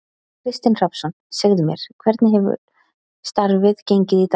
Kristinn Hrafnsson: Segðu mér, hvernig hefur starfið gengið í dag?